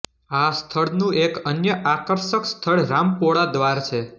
આ સ્થળનું એક અન્ય આકર્ષક સ્થળ રામપોળા દ્વાર છે